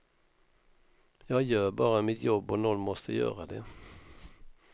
Jag gör bara mitt jobb och någon måste göra det.